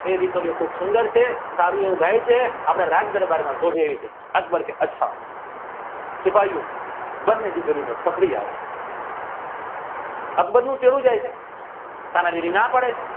બે દીકરીઓ કોક સુંદર છે ફરીઓ ગે છે આપણા રાજ દરબાર માં શોભે છે અકબર કી અચ્છા સિપાહીઓ બાંધણીતી કરીને પકડી આવો અકબરને કેવું થઈ છે